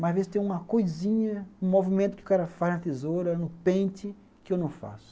Mas às vezes tem uma coisinha, um movimento que o cara faz na tesoura, no pente, que eu não faço.